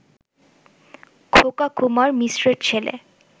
খোকা কুমার মিশ্রের ছেলে